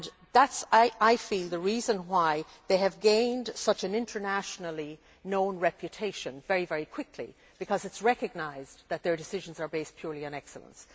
That is, I feel, the reason why they have gained such an internationally known reputation very quickly, because it is recognised that their decisions are based purely on excellence.